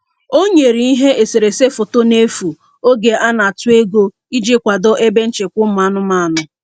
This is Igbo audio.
O nyere ihe eserese foto n'efu oge a na-atụ ego iji kwado ebe nchekwa ụmụ anụmanụ.